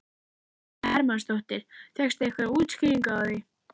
Viktoría Hermannsdóttir: Fékkstu einhverjar útskýringar á því?